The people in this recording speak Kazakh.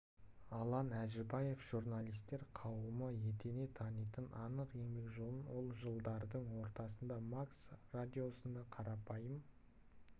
алан әжібаевты журналистер қауымы етене танитыны анық еңбек жолын ол жылдардың ортасында макс радиосында қарапайым